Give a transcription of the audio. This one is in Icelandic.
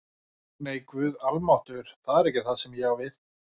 Nei, Guð almáttugur, það er ekki það sem ég á við